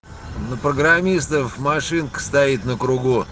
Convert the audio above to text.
ну программистов машинка стоит на кругу